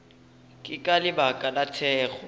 ke ka lebaka la thekgo